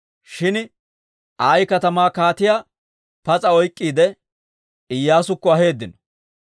Shin Ayi katamaa kaatiyaa pas'a oyk'k'iide, Iyyaasukko aheeddino.